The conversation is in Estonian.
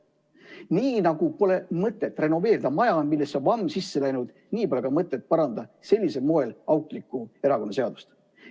Nii nagu pole mõtet renoveerida maja, millesse on vamm sisse läinud, nii pole ka sellisel moel mõtet parandada auklikku erakonnaseadust.